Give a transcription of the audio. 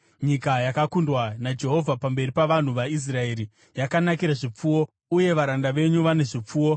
nyika yakakundwa naJehovha pamberi pavanhu vaIsraeri, yakanakira zvipfuwo, uye varanda venyu vane zvipfuwo.”